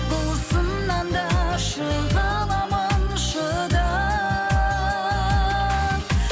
бұл сыннан да шыға аламын шыдап